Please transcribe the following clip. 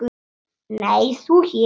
Nei, þú hér?